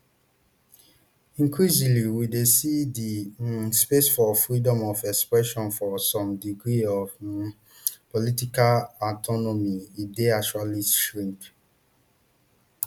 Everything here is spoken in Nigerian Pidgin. increasingly we dey see di um space for freedom of expression for some degree of um political autonomy e dey actually shrink